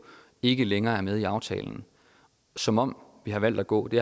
ikke længere er med i aftalen som om vi valgte at gå det